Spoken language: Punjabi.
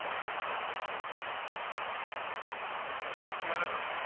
ਸੰਸਮਰਨ।